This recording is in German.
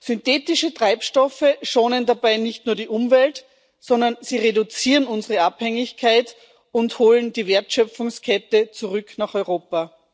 Synthetische Treibstoffe schonen dabei nicht nur die Umwelt, sondern sie reduzieren unsere Abhängigkeit und holen die Wertschöpfungskette zurück nach Europa.